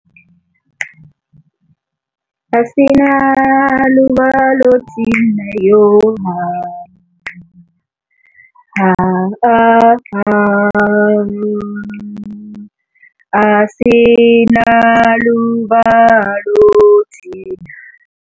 Asinalo uvalo thina yo ha ha asinalo uvalo thina.